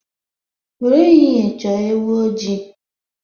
Were ehiehe choo ewu ojii